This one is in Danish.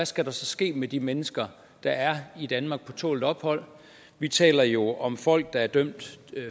skal der så ske med de mennesker der er i danmark på tålt ophold vi taler jo om folk der er dømt